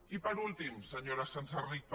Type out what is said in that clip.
i per últim senyora senserrich